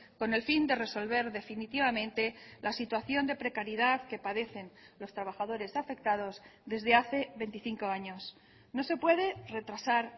con el fin de resolver definitivamente la situación de precariedad que padecen los trabajadores afectados desde hace veinticinco años no se puede retrasar